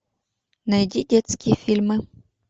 найди детские фильмы